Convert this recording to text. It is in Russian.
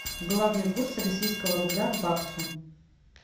главный курс российского рубля к баксу